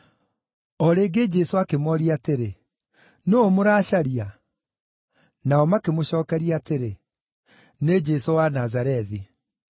O rĩngĩ Jesũ akĩmooria atĩrĩ, “Nũũ mũracaria?” Nao makĩmũcookeria atĩrĩ, “Nĩ Jesũ wa Nazarethi.”